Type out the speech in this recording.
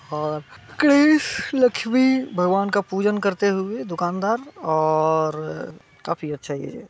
और कृष्ण लक्ष्मी भगवान का पूजन करते हुए हैं दुकानदार और काफी अच्छा ये----